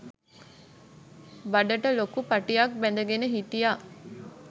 බඩට ලොකු පටියක් බැඳගෙන හිටියා.